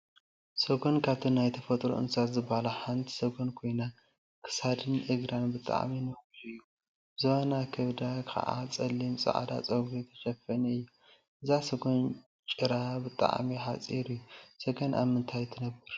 ሰጎን ካብቶም ናይ ተፈጥሮ እንስሳት ዝበሃሉ ሓንቲ ሰጎን ኮይና፤ ክሳዳን እግራን ብጣዕሚ ነዊሕ እዩ፡፡ ዝባናን ከብዳን ከዓ ፀሊምን ፃዕዳን ፀጉሪ ተሸፈነት እያ፡፡ እዛ ሰጎን ጭራታ ብጣዕሚ ሓፂር እዩ፡፡ ሰገን አብ ምንታይ ትነብር?